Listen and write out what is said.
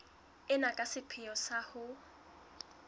ena ka sepheo sa ho